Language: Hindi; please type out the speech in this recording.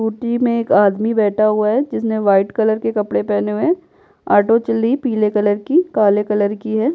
ओटी में एक आदमी बैठा हुआ है जिसने वाइट कलर के कपड़े पहने हुए हैं आटो चल्ली पीले कलर की काले कलर की है।